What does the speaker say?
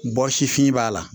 Bɔ sifin b'a la